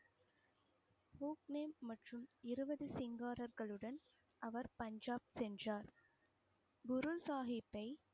இருவது சிங்காரகளுடன் அவர் பஞ்சாப் சென்றார் குரு சாகிப்பை